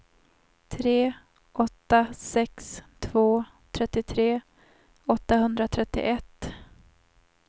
tre åtta sex två trettiotre åttahundratrettioett